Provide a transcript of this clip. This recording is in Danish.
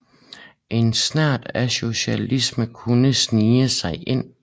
En snert af socialrealisme kunne snige sig ind